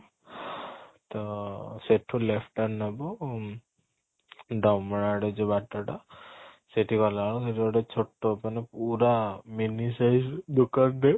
ତ ସେଠୁ left turn ନବୁ ଉଁ ଢମଣା ଆଡେ ଯୋଉ ବାଟ ଟା ସେଠି ଗଲା ବେଳକୁ ସେଠି ଗୋଟେ ଛୋଟ ମାନେ ପୁରା mini size ଦୋକାନ ରେ